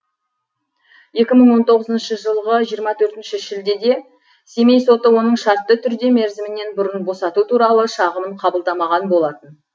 екі мың он тоғызыншы жылғы жиырма төртінші шілдеде семей соты оның шартты түрде мерзімінен бұрын босату туралы шағымын қабылдамаған болатын